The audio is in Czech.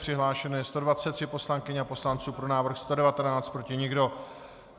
Přihlášeno je 123 poslankyň a poslanců, pro návrh 119, proti nikdo.